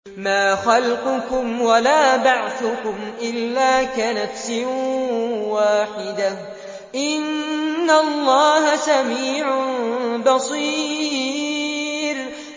مَّا خَلْقُكُمْ وَلَا بَعْثُكُمْ إِلَّا كَنَفْسٍ وَاحِدَةٍ ۗ إِنَّ اللَّهَ سَمِيعٌ بَصِيرٌ